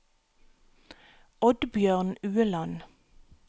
Oddbjørn Ueland